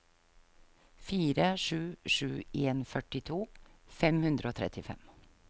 fire sju sju en førtito fem hundre og trettifem